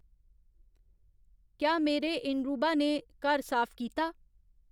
क्या मेरे इरूंबा ने घर साफ कीता